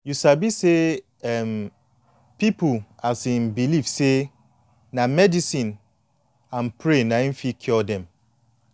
you sabi say um pipu um believe say medicine and pray na em fit cure dem